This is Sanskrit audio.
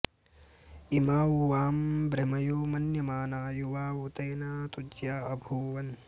इमा उ वां भृमयो मन्यमाना युवावते न तुज्या अभूवन्